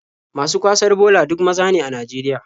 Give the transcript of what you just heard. Masu kwasar bola duk maza ne a Najeriya.